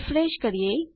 refresh કરીએ